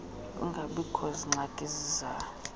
kungabikoh zingxaki zisalayo